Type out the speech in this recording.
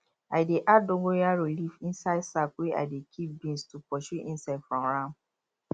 i dey add dongorayo leaf inside sack wey i dey keep beans to pursue insect from am